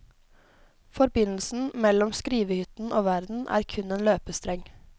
Forbindelsen mellom skrivehytten og verden er kun en løpestreng.